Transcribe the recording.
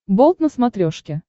болт на смотрешке